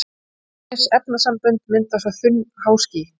Ýmis efnasambönd mynda svo þunn háský.